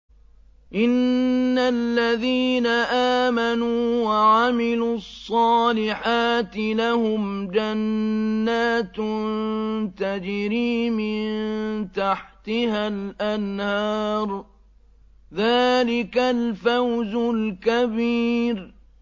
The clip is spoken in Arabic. إِنَّ الَّذِينَ آمَنُوا وَعَمِلُوا الصَّالِحَاتِ لَهُمْ جَنَّاتٌ تَجْرِي مِن تَحْتِهَا الْأَنْهَارُ ۚ ذَٰلِكَ الْفَوْزُ الْكَبِيرُ